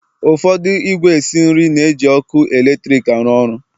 Ụfọdụ ìgwè esi nri na-eji ọkụ eletrik arụ ọrụ